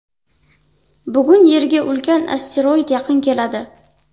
Bugun Yerga ulkan asteroid yaqin keladi.